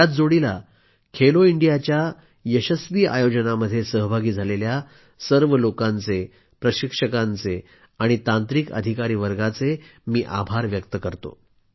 त्याच जोडीला खेलो इंडियाच्या यशस्वी आयोजनामध्ये सहभागी झालेल्या सर्व लोकांचे प्रशिक्षकांचे आणि तांत्रिक अधिकारी वर्गाचे आभार व्यक्त करतो